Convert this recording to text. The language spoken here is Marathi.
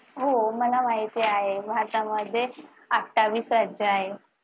हो मला माहिती आहे. भारतामध्ये अठ्ठावीस राज्य आहेत.